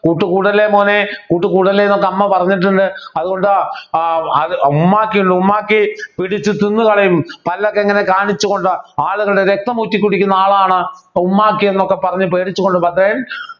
കൂട്ടുകൂടല്ലേ മോനെ കൂട്ടുകൂടല്ലേ എന്നൊക്കെ അമ്മ പറഞ്ഞിട്ടുണ്ട് അതുകൊണ്ട് ആഹ് അത് ആഹ് ഉമ്മാക്കി ഉമ്മാക്കി പിടിച്ചു തിന്നു കളയും പല്ലൊക്കെ ഇങ്ങനെ കാണിച്ചുകൊണ്ട് ആളുകളുടെ രക്തം ഊറ്റി കുടിക്കുന്ന ആളാണ് ഉമ്മാക്കി എന്നൊക്കെ പറഞ്ഞ് പേടിച്ചുകൊണ്ട് ഭദ്രൻ